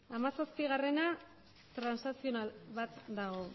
hamazazpigarrena transakzional bat dago